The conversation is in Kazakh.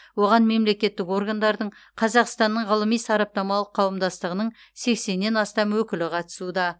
оған мемлекеттік органдардың қазақстанның ғылыми сараптамалық қауымдастығының сексеннен астам өкілі қатысуда